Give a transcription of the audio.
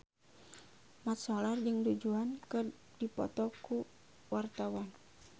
Mat Solar jeung Du Juan keur dipoto ku wartawan